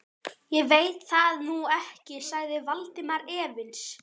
Ég veit það nú ekki sagði Valdimar efins.